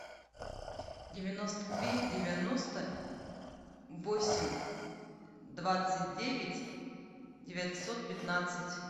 девяносто три девяносто восемь двадцать девять девятьсот пятнадцать